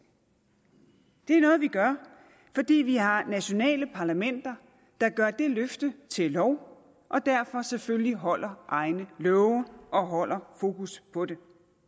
det er noget vi gør fordi vi har nationale parlamenter der gør det løfte til lov og derfor selvfølgelig holder egne love og holder fokus på det